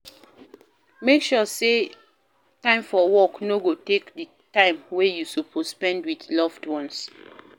Make sure say time for work no go take di time wey you suppose spend with loved ones